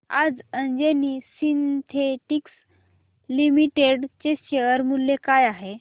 आज Anjani synthetics limited चे share मूल्य काय आहे